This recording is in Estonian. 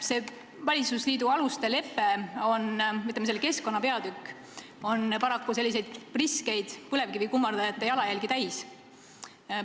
Selle valitsusliidu aluste leppe keskkonnapeatükk on paraku priskeid põlevkivikummardajate jalajälgi täis.